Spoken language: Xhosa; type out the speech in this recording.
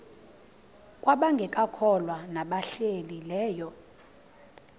kwabangekakholwa nabahlehli leyo